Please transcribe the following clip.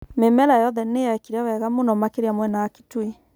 Mĩmera yothe nĩyekire wega mũno makĩria mwena wa Kitui